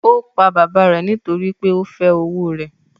Ó pa bàbá rẹ̀ nítorí pé ó fẹ́ owó rẹ̀